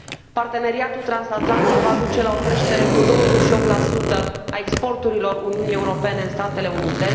Parteneriatul transatlantic va duce la creșterea cu 28 a exporturilor Uniunii Europene în Statele Unite.